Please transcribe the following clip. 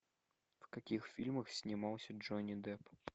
в каких фильмах снимался джонни депп